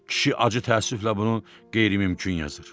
Kişi acı təəssüflə bunu qeyri-mümkün yazır.